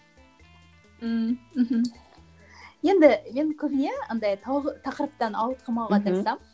ммм мхм енді енді көбіне андай тақырыптан ауытқымауға тырысамын